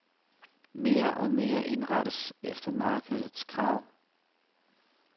Mere og mere indrettes efter markedets krav.